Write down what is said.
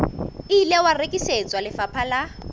ile wa rekisetswa lefapha la